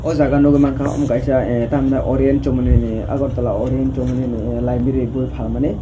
jaaga nugui manka omo kaisa aaa Oriana chomoni ni agartala orien chowmoni ni library boi falmani.